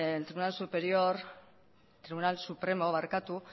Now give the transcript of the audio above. el tribunal supremo